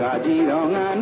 Hazarika